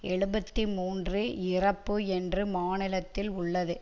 எழுபத்து மூன்று இறப்பு என்று மாநிலத்தில் உள்ளது